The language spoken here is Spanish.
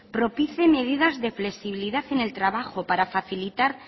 propicie medidas de flexibilidad en el trabajo para facilitar